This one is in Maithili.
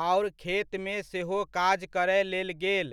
आओर खेतमे सेहो काज करय लेल गेल,